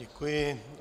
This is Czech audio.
Děkuji.